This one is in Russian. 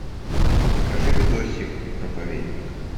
покажи видосик проповедник